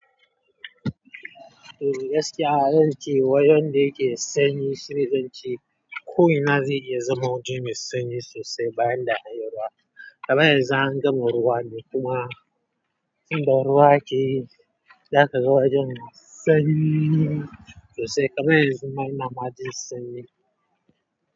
Eh gaskiya zan ce wajen da yake sanyi shine zan ce ko ina zai iya zama wajen mai sanyi sosai bayan da a yi ruwa. Kaman yanxu an gama ruwa ne kuma in da ruwa akeyi, za ka ga wajen sanyi sosai. Karai zama ina ma jin sanyi.